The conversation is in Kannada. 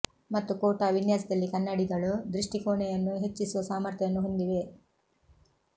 ಮತ್ತು ಖೋಟಾ ವಿನ್ಯಾಸದಲ್ಲಿ ಕನ್ನಡಿಗಳು ದೃಷ್ಟಿ ಕೋಣೆಯನ್ನು ಹೆಚ್ಚಿಸುವ ಸಾಮರ್ಥ್ಯವನ್ನು ಹೊಂದಿವೆ